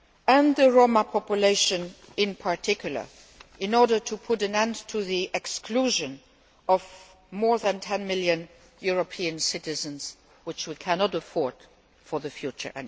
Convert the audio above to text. and the Roma population in particular in order to put an end to the exclusion of more than 10 million European citizens, which we can no longer afford for the future.